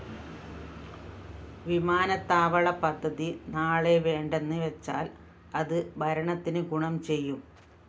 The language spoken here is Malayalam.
വിമാനത്താവളപദ്ധതി നാളെ വേണ്ടെന്ന്‌ വെച്ചാല്‍ അത്‌ ഭരണത്തിന്‌ ഗുണം ചെയ്യും